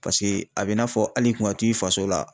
Paseke a be i n'a fɔ al'i kun ka t'i faso la